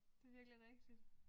Det er virkelig rigtigt